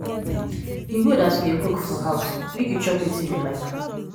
e good as you dey cook for house make you chop wetin you like.